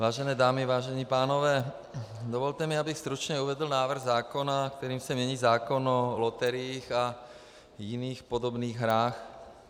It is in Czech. Vážené dámy, vážení pánové, dovolte mi, abych stručně uvedl návrh zákona, kterým se mění zákon o loteriích a jiných podobných hrách.